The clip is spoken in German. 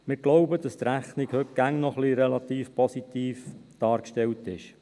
Wir glauben, dass die Rechnung heute immer noch relativ positiv dargestellt ist.